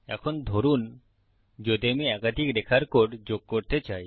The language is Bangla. এখন ধরুন যদি আমি একাধিক রেখার কোড যোগ করতে চাই